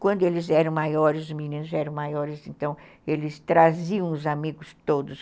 Quando eles eram maiores, os meninos eram maiores, então eles traziam os amigos todos.